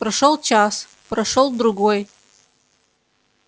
прошёл час прошёл другой